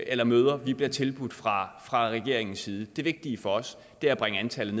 eller møder vi bliver tilbudt fra fra regeringens side det vigtige for os er at bringe antallet